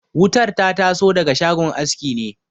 Wutar ta taso daga shagon aski ne